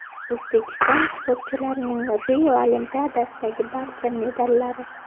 O‘zbekiston sportchilarning Rio Olimpiadasidagi barcha medallari.